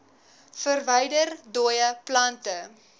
verwyder dooie plante